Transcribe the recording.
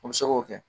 O bɛ se k'o kɛ